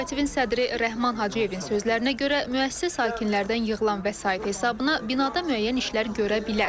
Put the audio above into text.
Kooperativin sədri Rəhman Hacıyevin sözlərinə görə, müəssisə sakinlərdən yığılan vəsait hesabına binada müəyyən işlər görə bilər.